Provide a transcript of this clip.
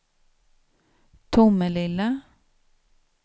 Tomelilla